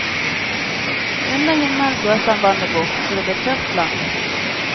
Og under himmelen blåste han vannet bort, så det ble tørt land.